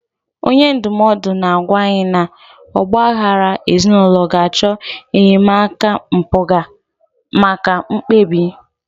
Onye ndụmọdụ na-agwa anyị na ọgba aghara ezinụlọ ga-achọ enyemaka mpụga maka mkpebi.